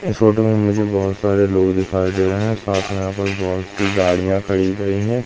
इस फोटो में मुझे बहुत सारे लोग दिखाई दे रहे हैं साथ में यहां पे बहोत सी गाड़ियां खड़ी गई है।